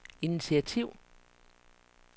initiativ